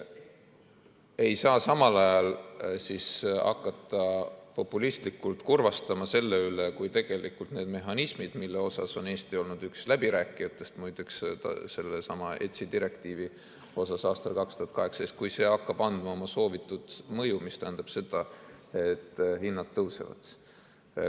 Ei saa samal ajal hakata populistlikult kurvastama selle üle, kui tegelikult need mehhanismid, mille üks läbirääkijatest Eesti oli – muideks, sellesama ETS-i direktiivi osas aastal 2018 –, hakkavad avaldama oma soovitud mõju, mis tähendab seda, et hinnad tõusevad.